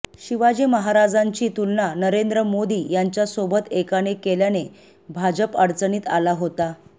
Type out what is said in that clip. शिवाजी महाराजांची तुलना नरेंद्र मोदी यांच्यासोबत एकाने केल्याने भाजप अडचणीत आला होता